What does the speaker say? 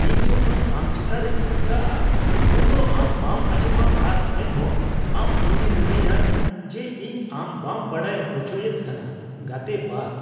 ᱤᱧ ᱡᱚᱠᱷᱚᱱ ᱟᱢ ᱪᱮᱛᱟᱱ ᱨᱮᱧ ᱵᱷᱚᱨᱥᱟᱜᱼᱟ ᱩᱱᱫᱚ ᱟᱢ ᱵᱟᱢ ᱟᱸᱡᱚᱢᱟ ᱟᱨ ᱮᱱᱦᱚᱸ ᱟᱢ ᱤᱧᱮᱢ ᱢᱤᱛᱟᱹᱧᱟ ᱡᱮ ᱤᱧ ᱟᱢ ᱵᱟᱢ ᱵᱟᱰᱟᱭ ᱦᱚᱪᱚᱭᱮᱫ ᱠᱟᱱᱟ ᱾(ᱜᱟᱛᱮ ᱒)